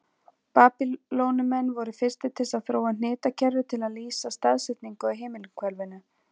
Babýloníumenn voru fyrstir til að þróa hnitakerfi til að lýsa staðsetningu á himinhvelinu.